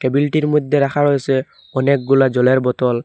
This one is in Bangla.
টেবিলটির মধ্যে রাখা রয়েসে অনেকগুলা জলের বোতল।